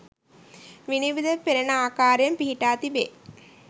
විනිවිද පෙනෙන ආකාරයෙන් පිහිටා තිබේ.